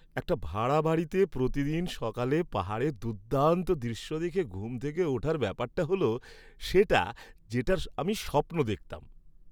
একটা ভাড়া বাড়িতে প্রতিদিন সকালে পাহাড়ের দুর্দান্ত দৃশ্য দেখে ঘুম থেকে ওঠার ব্যাপারটা হল সেটা, যেটার আমি স্বপ্ন দেখতাম!